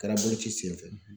Kɛra boloci sen fɛ.